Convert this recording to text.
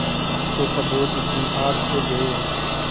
अब तो सबूत भी हाथ से गये